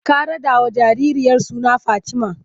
Ka raɗawa jaririyar suna Fatima!